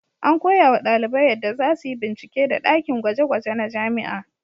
An koyawa ɗalibai yadda za su yi bincike da ɗakin gwaje-gwaje na jami'a.